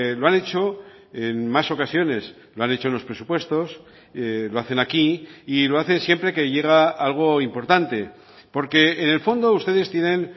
lo han hecho en más ocasiones lo han hecho en los presupuestos lo hacen aquí y lo hacen siempre que llega algo importante porque en el fondo ustedes tienen